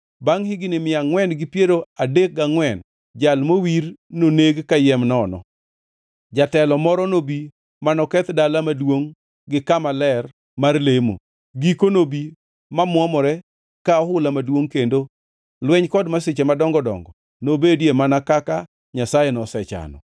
Bangʼ higni mia angʼwen gi piero adek gangʼwen Jal Mowir noneg kayiem nono. Jatelo moro nobi manoketh dala maduongʼ gi kama ler mar lemo. Giko nobi mamuomore ka ohula maduongʼ kendo lweny kod masiche madongo dongo nobedie mana kaka Nyasaye nosechano.